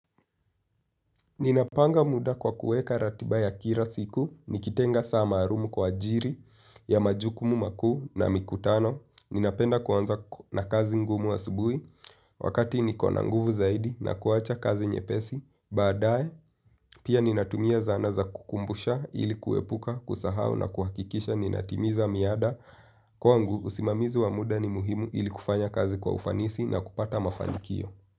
Ninapanga muda kwa kuweka ratiba ya kila siku, nikitenga saa malumu kwa ajiri ya majukumu makuu na mikutano. Ninapenda kuanza na kazi ngumu asubuhi wakati nikona nguvu zaidi na kuwacha kazi nyepesi. Baadaye, pia ninatumia zana za kukumbusha ili kuepuka kusahau na kuhakikisha ninatimiza miada. Kwangu usimamizi wa muda ni muhimu ili kufanya kazi kwa ufanisi na kupata mafanikio.